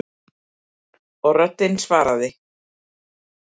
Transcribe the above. Og röddin svaraði